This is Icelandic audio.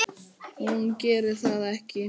Hún gerir það ekki.